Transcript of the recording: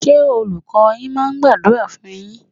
Ṣé Olùkọ́ọ yín máa ń gbàdúrà fún un yín?